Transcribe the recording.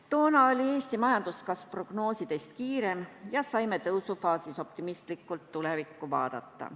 Toona oli Eesti majanduskasv prognoosidest kiirem ja me saime tõusufaasis optimistlikult tulevikku vaadata.